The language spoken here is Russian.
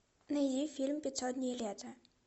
найди фильм пятьсот дней лета